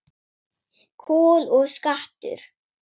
Kol og skattur